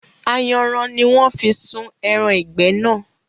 Ayanran ni wọn fi sun ẹran ìgbẹ́ náà